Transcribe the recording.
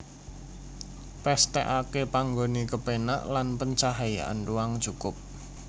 Pesthekake panggone kepenak lan pencahayaan ruang cukup